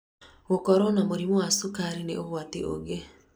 Gũkorwo na mũrimũ wa cukarĩ nĩ ũgwatĩ ungĩ